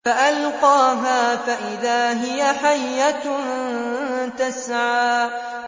فَأَلْقَاهَا فَإِذَا هِيَ حَيَّةٌ تَسْعَىٰ